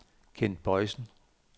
Kent Boisen